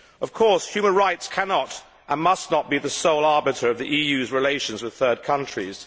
Of course, human rights cannot, and must not, be the sole arbiter of the EU's relations with third countries.